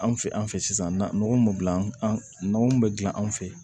An fɛ an fɛ sisan na nɔgɔ min an kun bɛ gilan anw fɛ yen